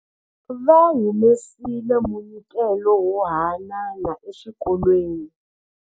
Va humesile munyikelo wo haanana exikolweni.